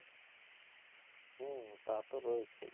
হম তা তো রয়েছেই।